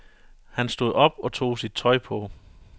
Han stod op og tog sit tøj på.